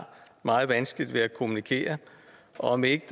meget vanskeligt ved at kommunikere og om det ikke